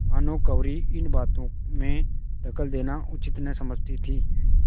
भानुकुँवरि इन बातों में दखल देना उचित न समझती थी